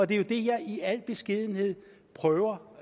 det er det jeg i al beskedenhed prøver